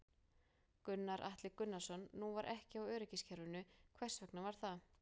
Gunnar Atli Gunnarsson: Nú var ekki á öryggiskerfinu, hvers vegna var það?